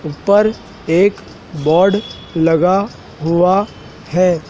ऊपर एक बोर्ड लगा हुवा है।